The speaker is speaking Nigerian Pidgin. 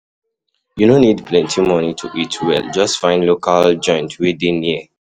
You no need plenty money to eat well, just find local joint wey dey near.